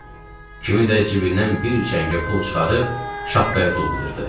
Kimi də cibindən bir çəngə pul çıxarıb şapkaya tullayırdı.